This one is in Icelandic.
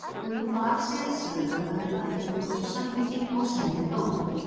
Göngum þá afsíðis, sagði lögmaður að fengnu þessu samþykki, og semjum dóm.